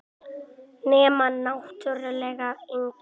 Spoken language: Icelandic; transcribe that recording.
Nema náttúrlega yngri.